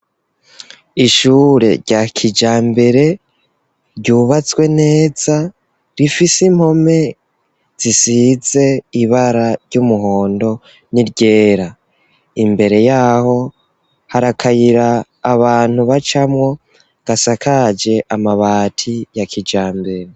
Ishure rya kijambere ryubatswe neza rifise impome zisize ibara ry'umuhondo n'iryera, imbere yaho harakayira abantu bacamwo gasakaje amabati ya kijambere.